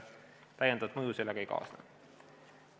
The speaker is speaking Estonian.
Täiendavat mõju sellega ei kaasne.